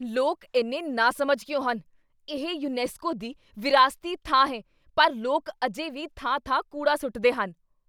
ਲੋਕ ਇੰਨੇ ਨਾਸਮਝ ਕਿਉਂ ਹਨ? ਇਹ ਯੂਨੈਸਕੋ ਦੀ ਵਿਰਾਸਤੀ ਥਾਂ ਹੈ ਪਰ ਲੋਕ ਅਜੇ ਵੀ ਥਾਂ ਥਾਂ ਕੂੜਾ ਸੁੱਟਦੇ ਹਨ